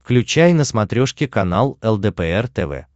включай на смотрешке канал лдпр тв